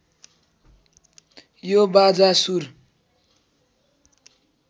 यो बाजा सुर